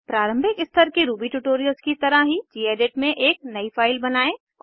प्रारंभिक स्तर के रूबी ट्यूटोरियल्स की तरह ही गेडिट में एक नयी फाइल बनायें